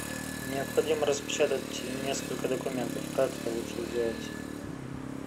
необходимо распечатать несколько документов как это лучше сделать